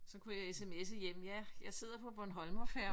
Så kunne jeg sms'e hjem ja jeg sidder på Bornholmerfærgen ik?